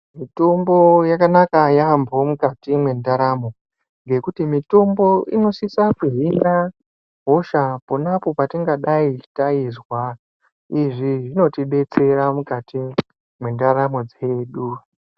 Mitombo yakanaka yamho mukati mwendaramo ngekuti mitombo inosisa kuhina hosha ponapo patingadai taizwa izvi zvinotidetsera mukati mwendaramo dzedu.